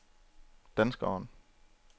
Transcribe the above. danskeren